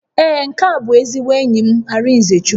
Ee, nke a bụ ezigbo enyi m Arịnzechukwu